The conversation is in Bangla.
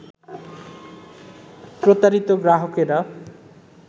প্রতারিত গ্রাহকেরা